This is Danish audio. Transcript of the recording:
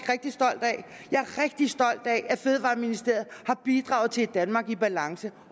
rigtig stolt af at fødevareministeriet har bidraget til et danmark i balance